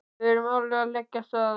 Við erum alveg að leggja af stað.